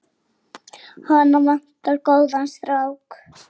Málið liggur ljóst fyrir.